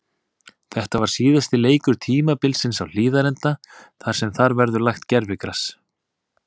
Þetta var síðasti leikur tímabilsins á Hlíðarenda þar sem þar verður lagt gervigras.